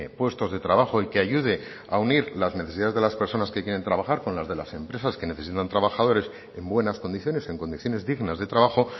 puestos de trabajo y que ayude a unir las necesidades de las personas que quieren trabajar con las de las empresas que necesitan trabajadores en buenas condiciones en condiciones dignas de trabajo